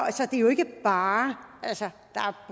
det er jo ikke bare altså der er